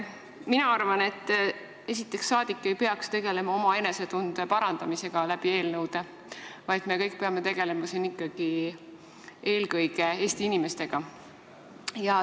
Mina arvan, et rahvasaadik ei peaks tegelema oma enesetunde parandamisega eelnõude kaudu, vaid me kõik peame tegelema siin ikkagi eelkõige Eesti inimestega.